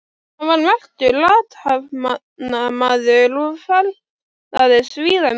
Hann var merkur athafnamaður og ferðaðist víða um land.